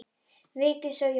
Vigdís og Jón.